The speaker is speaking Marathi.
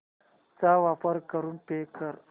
चा वापर करून पे कर